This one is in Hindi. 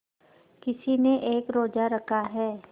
किसी ने एक रोज़ा रखा है